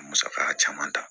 Musaka caman ta